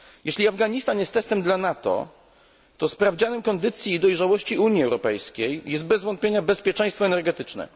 Jeśli Afganistan jest testem dla NATO, to sprawdzianem kondycji i dojrzałości Unii Europejskiej jest bez wątpienia bezpieczeństwo energetyczne.